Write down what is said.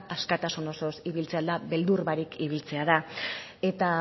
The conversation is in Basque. askatasun osoz ibiltzea da beldur barik ibiltzea da eta